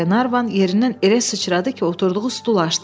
Qlenarvan yerindən elə sıçradı ki, oturduğu stul aşdı.